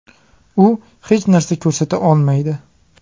U hech narsa ko‘rsata olmaydi.